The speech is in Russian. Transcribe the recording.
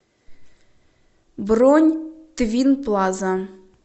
бронь твинплаза